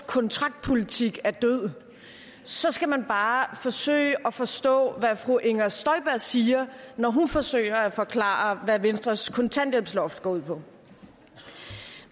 kontraktpolitik er død så skal man bare forsøge at forstå hvad fru inger støjberg siger når hun forsøger at forklare hvad venstres kontanthjælpsloft går ud på